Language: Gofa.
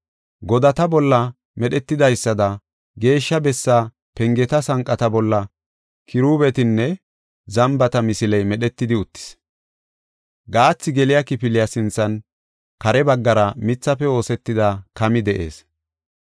Godata bolla medhetidaysada Geeshsha Bessaa pengeta sanqata bolla kiruubetanne zambata misiley medhetidi uttis. Gaathi geliya kifiliya sinthan, kare baggara mithafe oosetida kami de7ees.